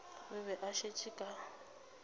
o be a šetše ka